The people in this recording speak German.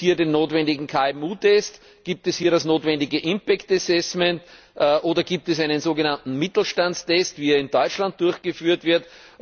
Gibt es hier den notwendigen KMU Test, gibt es hier das notwendige impact assessment oder gibt es einen sogenannten Mittelstandstest, wie er in Deutschland durchgeführt wird?